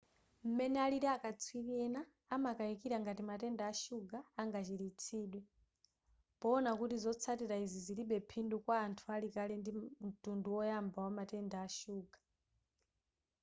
m'mene alili akatswiri ena amakayikira ngati matenda a shuga angachiritsidwe poona kuti zotsatila izi zilibe phindu kwa anthu ali kale ndi mtundu woyamba wa matenda ashuga